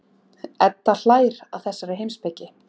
Edda hlær að þessari heimspeki.